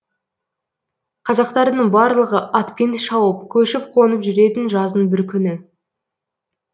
қазақтардың барлығы атпен шауып көшіп қонып жүретін жаздың бір күні